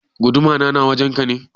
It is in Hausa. Guduma na na wajen ka ne?